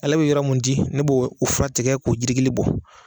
Ale bɛ yɔrɔ mun di ne b'o o fura tigɛ k'o jiri gili bɔ